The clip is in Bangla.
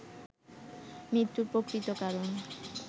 মৃত্যুর প্রকৃত কারণ